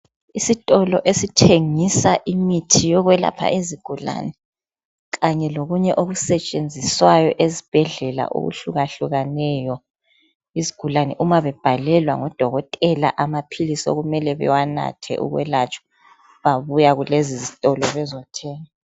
Isitolo esithengisa imithi yokwelapha izigulane .Kanye lokunye okusetshenziswayo ezibhedlela okuhlukahlukeneyo . Izigulane uma bebhalelwa ngodokotela amaphilisi okumele bawanathe ukwelatshwa babuya kulezi zitolo bezothenga.